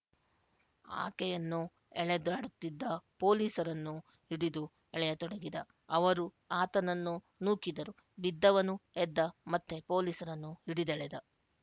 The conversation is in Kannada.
ಆಕೆಯನ್ನು ಎಳೆದಾಡುತ್ತಿದ್ದ ಪೋಲಿಸರನ್ನು ಹಿಡಿದು ಎಳೆಯತೊಡಗಿದ ಅವರು ಆತನನ್ನು ನೂಕಿದರು ಬಿದ್ದವನು ಎದ್ದ ಮತ್ತೆ ಪೋಲಿಸರನ್ನು ಹಿಡಿದೆಳೆದ